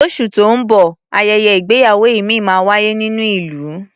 Lóṣù tó ń bọ̀, ayẹyẹ ìgbéyàwó ìmíì máa wáyé nínú ìlú.